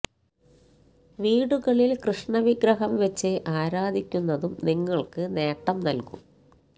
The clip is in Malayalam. വീടുകളില് കൃഷ്ണ വിഗ്രഹം വച്ച് ആരാധിക്കുന്നതും നിങ്ങള്ക്ക് നേട്ടം നല്കും